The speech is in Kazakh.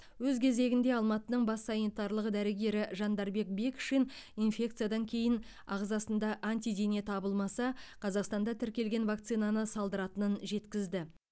өз кезегінде алматының бас санитарлық дәрігері жандарбек бекшин инфекциядан кейін ағзасында антидене табылмаса қазақстанда тіркелген вакцинаны салдыратынын жеткізді